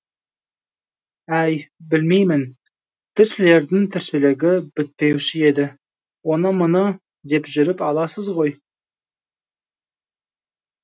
әй білмеймін тілшілердің тіршілігі бітпеуші еді оны мұны деп жүріп аласыз ғой